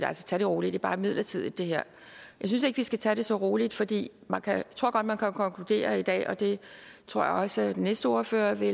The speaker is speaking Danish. tag det roligt er bare midlertidigt jeg synes ikke vi skal tage det så roligt fordi jeg tror godt man kan konkludere i dag og det tror jeg også den næste ordfører vil